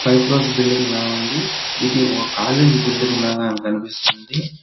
Five crores బిల్లింగ్లా ఉంది ఇది ఓ కాలేజ్ బిల్డింగ్ లాగా కనిపిస్తుంది.